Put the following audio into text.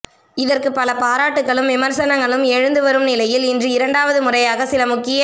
இதற்குப் பல பாராட்டுகளும் விமர்சனங்களும் எழுந்து வரும் நிலையில் இன்று இரண்டாவது முறையாக சில முக்கிய